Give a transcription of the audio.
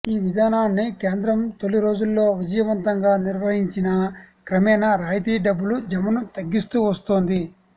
ఈ విధానాన్ని కేంద్రం తొలి రోజుల్లో విజయవంతంగా నిర్వహించినా క్రమేణా రాయితీ డబ్బుల జమను తగ్గిస్తూ వస్తోంది